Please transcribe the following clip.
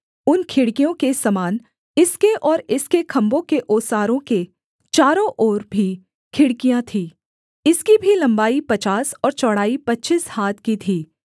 उन खिड़कियों के समान इसके और इसके खम्भों के ओसारों के चारों ओर भी खिड़कियाँ थीं इसकी भी लम्बाई पचास और चौड़ाई पच्चीस हाथ की थी